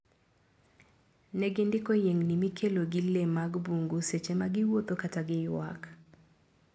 Negindiko yiengni mikelo gi lee mag bungu seche ma giwuotho kata giyuak.